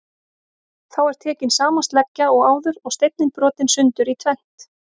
Þá er tekin sama sleggja og áður og steinninn brotinn sundur í tvennt.